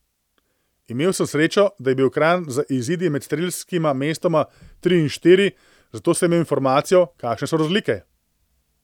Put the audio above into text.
Imel sem srečo, da je bil ekran z izidi med strelskima mestoma tri in štiri, zato sem imel informacijo, kakšne so razlike.